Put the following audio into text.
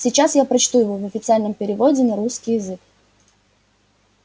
сейчас я прочту его в официальном переводе на русский язык